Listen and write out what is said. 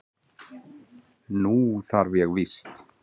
Nú þarf ég víst.